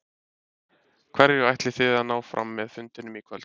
Hverju ætlið þið að ná fram með fundinum í kvöld?